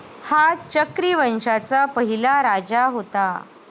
हा चक्री वंशाचा पहिला राजा होता.